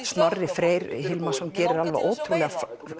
Snorri Freyr Hilmarsson gerir ótrúlega